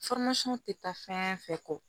tɛ taa fɛn fɛn kɔ